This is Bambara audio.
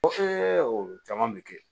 caman bɛ kɛ